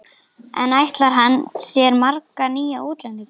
En ætlar hann sér marga nýja útlendinga?